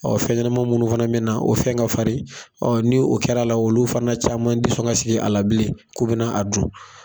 fɛn ɲɛnama minnu fana me na, o fɛn ka farin, ni o kɛr'a la olu fana caman ti sɔn ka sigi a la bilen, k'u bɛna a dun.